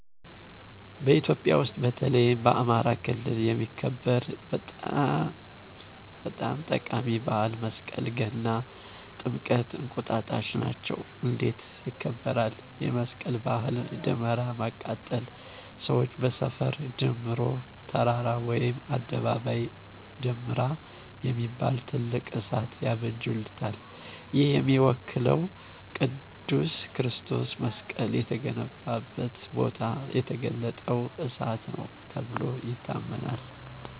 በኢትዮጵያ ውሰጥ፣ በተለይም በአማራ ክልል የሚከበር በጠም ጠቃሚ በዓል መሰቀል፣ ገና፣ ጥምቀት፣ እንቁጣጣሽ ናቸው። እንዴት ይከብራል? የመስቀል ባህል ደመራ ማቃጠል ሰዋች በሰፈ ድምሮ(ተራራ ወይም አደባባይ )ደምራ የሚባል ትልቅ እሳት ያበጁታል። ይህ የሚወከለው ቅዱስ ክርስቶስ መሰቀል የተገኘበትን ቦታ የተገለጠው እሳት ነው ተብሎ ይታመናል